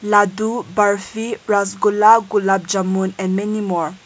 laddu barfi rasgulla gulab jamun and many more.